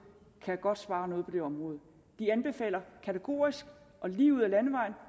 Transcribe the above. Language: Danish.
godt kan spare noget på det område de anbefaler kategorisk og lige ud ad landevejen